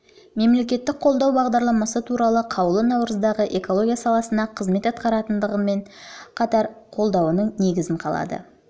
мемлекеттік қолдау бағдарламасы туралы қаулы наурыздағы экология саласында қызмет атқаратындармен қатар қолдауының негізін қалады